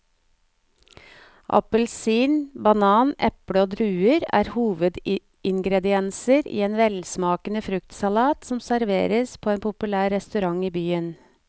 Appelsin, banan, eple og druer er hovedingredienser i en velsmakende fruktsalat som serveres på en populær restaurant i byen.